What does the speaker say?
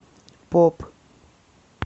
поп